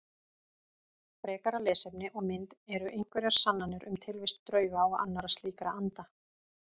Frekara lesefni og mynd Eru einhverjar sannanir um tilvist drauga og annarra slíkra anda?